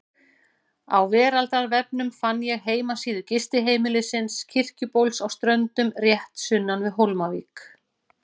Á veraldarvefnum fann ég heimasíðu gistiheimilisins Kirkjubóls á Ströndum, rétt sunnan við Hólmavík.